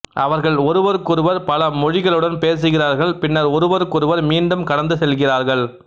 அவர்கள் ஒருவருக்கொருவர் பல மொழிகளுடன் பேசுகிறார்கள் பின்னர் ஒருவருக்கொருவர் மீண்டும் கடந்து செல்கிறார்கள்